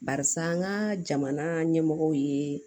Barisa an ka jamana ɲɛmɔgɔ ye